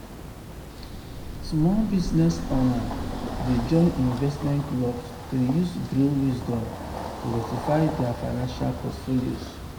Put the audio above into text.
small business owners dey join investment clubs to use group wisdom to diversify dia financial portfolios.